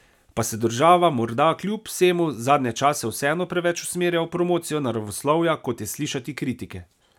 Pa se država morda kljub vsemu zadnje čase vseeno preveč usmerja v promocijo naravoslovja, kot je slišati kritike?